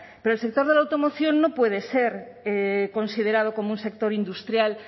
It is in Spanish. pero el sector de la automoción no puede ser considerado como un sector industrial